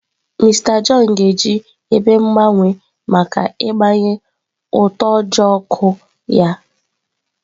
Mister John ga-eji ebe mgbanwe maka ịgbanye utoojoo ọkụ ya.